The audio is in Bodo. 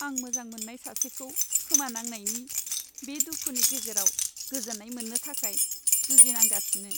आं मोजां मोननाय सासेखौ खोमानांनायनि बे दुखुनि गेजेराव गोजोन्नाय मोन्नो थाखाय जुजिनांगासिनो।